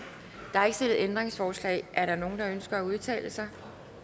der er ikke stillet ændringsforslag er der nogen der ønsker at udtale sig